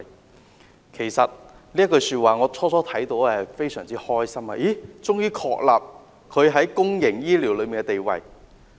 當我聽到這句話，感到非常高興，政府終於確立它在公營醫療中的地位。